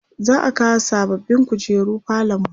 za'a kawo sababbin kujeru falonmu